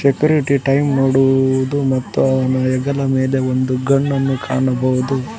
ಪಿರಿಟಿ time ನೋಡುವುದು ಮತ್ತು ಅವನ ಹೆಗಲ ಮೆಲೆ ಒಂದು ಗನ್ ನನ್ನು ಕಾಣಬಹುದು.